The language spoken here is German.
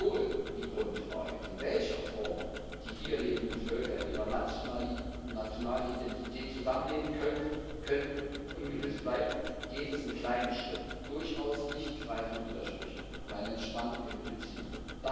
Obwohl die Grundfrage, in welcher Form die hier lebenden Völker in ihrer nationalen Identität zusammen leben können, ungelöst bleibt, geht es in kleinen Schritten durchaus nicht frei von Widersprüchen um eine Entspannung in den Beziehungen.